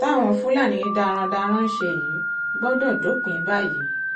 táwọn fúlàní darandaran ń ṣe yìí gbọ́dọ̀ dópin báyìí